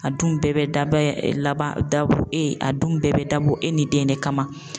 A dun bɛɛ bɛ daban laban dabɔ a dun bɛɛ bɛ dabɔ e ni den de kama.